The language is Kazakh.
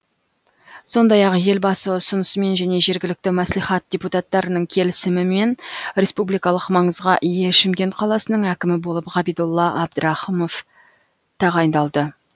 сондай ақ елбасы ұсынысымен және жергілікті мәслихат депутаттарының келісімімен республикалық маңызға ие шымкент қаласының әкімі болып ғабидолла әбдірахымов тағайындалды